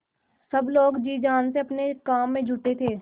सब लोग जी जान से अपने काम में जुटे थे